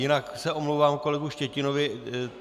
Jinak se omlouvám kolegovi Štětinovi.